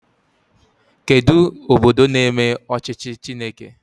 Kedụ obodo na-eme ọchịchị Chineke?